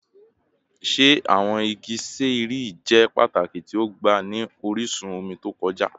Ṣe awọn igi ṣẹẹri jẹ pataki ti ọgba ni orisun omi to kọja?